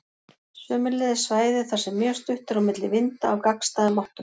Sömuleiðis svæði þar sem mjög stutt er á milli vinda af gagnstæðum áttum.